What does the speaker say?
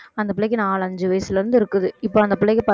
அந்தப் பிள்ளைக்கு நாலு அஞ்சு வயசுல இருந்து இருக்குது இப்ப அந்த பிள்ளைக்கு